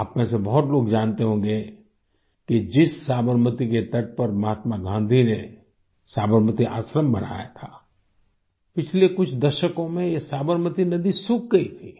आप में से बहुत लोग जानते होंगे कि जिस साबरमती के तट पर महात्मा गाँधी ने साबरमती आश्रम बनाया था पिछले कुछ दशकों में ये साबरमती नदी सूख गयी थी